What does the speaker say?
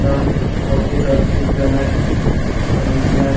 এটা office of the joint commissioner --